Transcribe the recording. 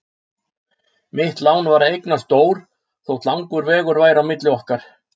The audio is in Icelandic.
Mitt lán var að eignast Dór þótt langur vegur væri milli okkar.